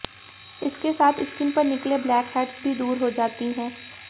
इसके साथ स्किन पर निकले ब्लैकहेड्स भी दूर हो जाती हैं